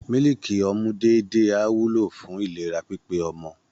Mílíkì ọmú déédéé á wúlò fún ìlera pípé ọmọ